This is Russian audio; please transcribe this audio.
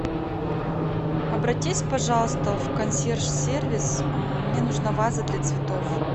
обратись пожалуйста в консьерж сервис мне нужна ваза для цветов